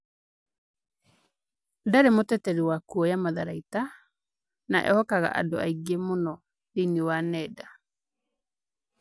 ndarĩ mũteteri wa kuoya matharaita na ehokaga andũ aingĩ mũno thĩinĩ wa nenda